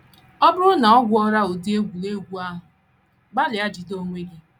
Ọ bụrụ na o gwuola ụdị egwuregwu ahụ, gbalịa jide onwe gị.